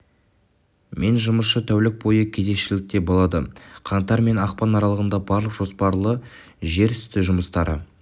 мен жұмысшы тәулік бойы кезекшілікте болады қаңтар мен ақпан аралығында барлық жоспарлы жер үсті жұмыстары